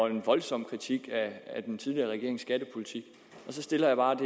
en voldsom kritik af den tidligere regerings skattepolitik og så stiller jeg bare et